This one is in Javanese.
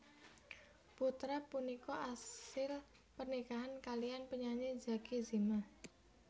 Putra punika asil pernikahan kaliyan penyanyi Zacky Zimah